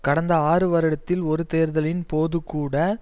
கடந்த ஆறு வருடத்தில் ஒரு தேர்தலின் போது கூட